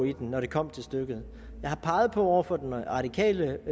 i den når det kommer til stykket jeg har over for den radikale